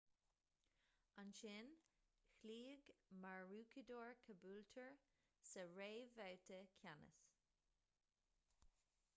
ansin chloígh maroochydore caboolture sa réamhbhabhta ceannais